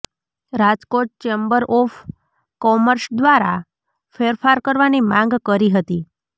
Rajkot chamber of commerce દ્વારા ફેરફાર કરવાની માંગ કરી હતી